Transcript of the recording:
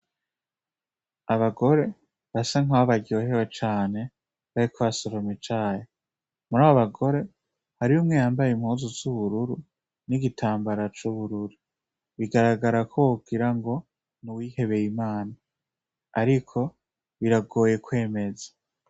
Abagore basa nkaho baryohewe cane bariko basoroma icayi, murabo bagore hariho umwe yambaye impuzu z'ubururu n'igitambara c'ubururu, bigaragara ko wogira ngo n'uwihebeye Imana ariko biragoye kwemeza.